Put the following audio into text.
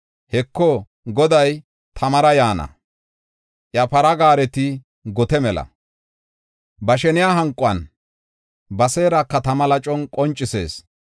Heko, Goday tamara yaana; iya para gaareti gote mela. Ba sheniya hanqon; ba seeraka tama lacon qoncisees.